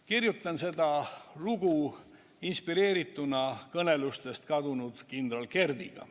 Kirjutasin seda kõnet inspireerituna kõnelustest kadunud kindral Kerdiga.